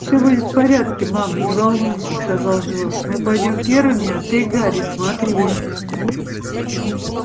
всё будет в порядке мама не волнуйся сказал джордж мы пойдём первыми а ты гарри смотри